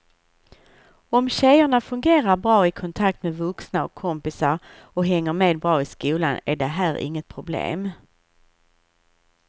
Om tjejerna fungerar bra i kontakt med vuxna och kompisar och hänger med bra i skolan är det här inget problem.